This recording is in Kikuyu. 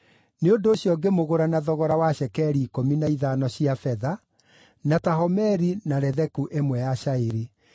Nĩ ũndũ ũcio ngĩmũgũra na thogora wa cekeri ikũmi na ithano cia betha, na ta homeri na letheku ĩmwe ya cairi.